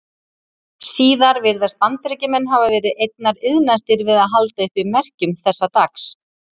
Síðar virðast Bandaríkjamenn hafa verið einna iðnastir við að halda uppi merkjum þessa dags.